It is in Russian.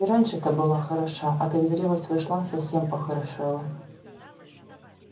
и раньше-то была хороша а как в зрелость вошла совсем похорошела